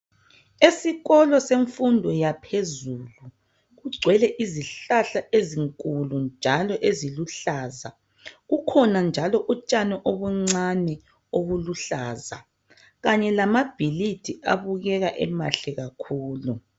Esikolo semfundo yaphezulu kugcwele izihlahla ezinkulu njalo eziluhlaza kukhona njalo utshani obuncani obuluhlaza kanye lamabhilidi abukeka emahle kakhulu.